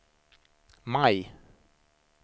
maj